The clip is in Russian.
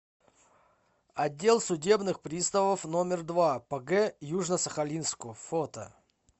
отдел судебных приставов номер два по г южно сахалинску фото